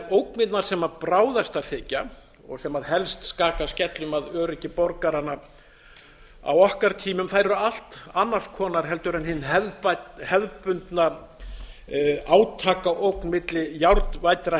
ógnirnar sem bráðastar þykja og sem helst skaka skellum að öryggi borgaranna á okkar tímum eru allt annars konar heldur hin hefðbundna átakaógn milli járnvæddra